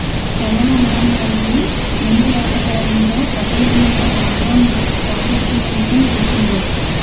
corona మహమ్మారికి మందులేకపోవడంతో ప్రపంచమంతా లాక్ డౌన్ పాటిస్తున్న విషయం తెలిసిందే